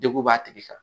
Degun b'a tigi kan